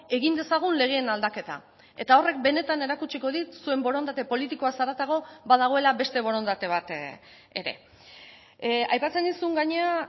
egin dezagun legeen aldaketa eta horrek benetan erakutsiko dit zuen borondate politikoaz haratago badagoela beste borondate bat ere aipatzen nizun gainera